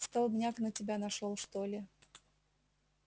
столбняк на тебя нашёл что ли